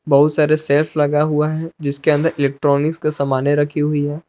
बहुत सारे सेल्फ लगा हुआ हैं जिसके अंदर इलेक्ट्रॉनिक का समाने रखी हुई हैं।